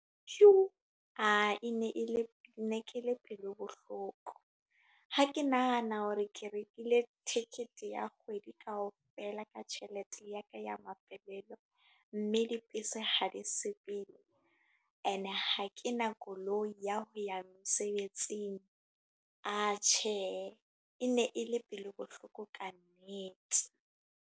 Yo! E ne e le, nekele pelo bohloko. Ha ke nahana hore ke rekile ticket ya kgwedi kaofela, ka tjhelete ya ka ya mafelelo. Mme dibese ha di sepele. E ne ha ke na koloi ya ho ya mesebetsing. A tjhehe, e ne e le pelo bohloko ka nnete.